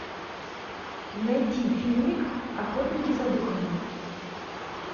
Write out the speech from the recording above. найти фильмик охотники за духами